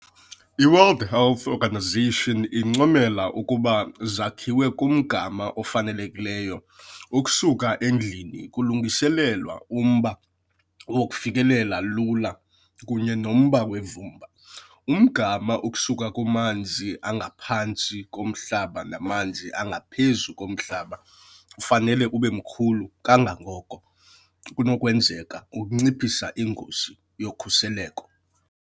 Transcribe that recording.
IWorld Health Organization incomela ukuba zakhiwe kumgama ofanelekileyo ukusuka endlini kulungiselelwa umba wokufikelela lula kunye nomba wevumba. Umgama ukusuka kumanzi angaphantsi komhlaba namanzi angaphezu komhlaba ufanele ube mkhulu kangangoko kunokwenzeka ukunciphisa ingozi yokhukuliseko.